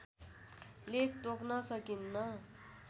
लेख तोक्न सकिन्न